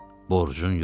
Borcun yox.